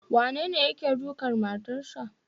Wanene yake dukan matarsa.